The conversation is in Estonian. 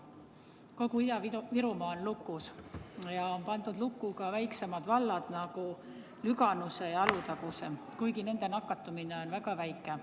Kogu Ida-Virumaa on lukus ja lukku on pandud ka väiksemad vallad, nagu Lüganuse, Alutaguse, kuigi nende nakatumine on väga väike.